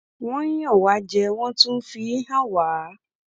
wọn ń yàn wá jẹ wọn tún ń fi í hàn wá